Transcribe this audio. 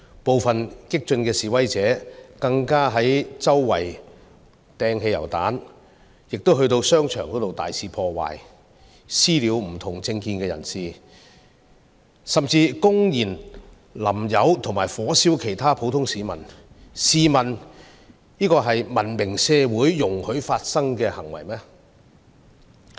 部分激進示威者更加周圍投擲汽油彈，又進入商場大肆破壞，"私了"不同政見的人士，甚至公然潑油及火燒其他普通市民，試問這是文明社會容許發生的行為嗎？